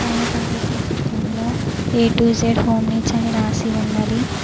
పైన కనిపిస్తున్న చిత్రంలో A to Z home needs అని రాసి ఉన్నది.